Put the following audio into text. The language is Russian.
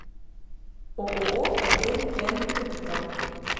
ооо отель н капитал